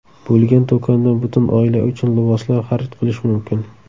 bo‘lgan do‘kondan butun oila uchun liboslar xarid qilish mumkin.